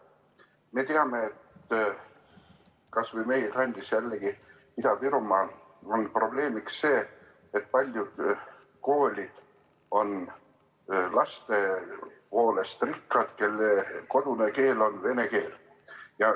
Me teame, et kas või meie kandis Ida-Virumaal on probleemiks see, et paljud koolid on rikkad laste poolest, kelle kodune keel on vene keel.